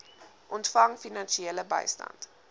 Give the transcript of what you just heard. ontvang finansiële bystand